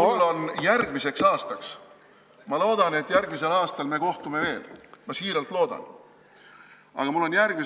Mul on järgmiseks aastaks – ma loodan, et järgmisel aastal me kohtume veel, ma tõesti loodan